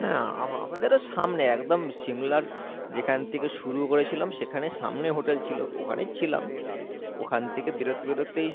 হ্যাঁ আ~আমাদেরও সামনে একদম সিমলার যেখান থেকে শুরু করেছিলাম সেখানে সামনে hotel ছিলো ওখানেই ছিলাম ওখান থেকে বেরোতে বেরোতেই